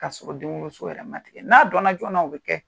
Ka sɔrɔ denwoloso yɛrɛ ma tigɛ. N'a donna joona o bɛ kɛ.